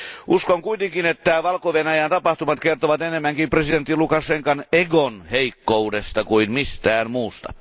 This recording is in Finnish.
Uskon kuitenkin, että Valko Venäjän tapahtumat kertovat enemmänkin presidentti Lukašenkan egon heikkoudesta kuin mistään muusta.